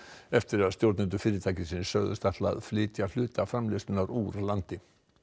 eftir að stjórnendur fyrirtækisins sögðust ætla að flytja hluta framleiðslunnar úr landi